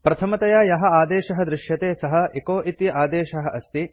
प्रथमतया यः आदेशः दृश्यते सः एचो इति आदेशः अस्ति